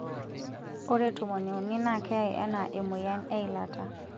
Ore tomoni uni naa keyai anaa emoyian eilata.